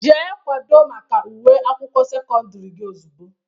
Jee kwado maka ule akwụkwọ sekọndiri gị ozugbo!